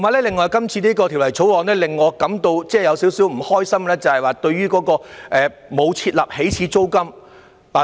另外，今次的《條例草案》令我感到少許不開心，因為沒有設立起始租金。